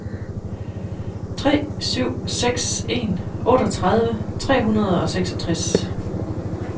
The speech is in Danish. tre syv seks en otteogtredive tre hundrede og seksogtres